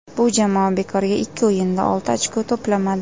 Bu jamoa bekorga ikki o‘yinda olti ochko to‘plamadi.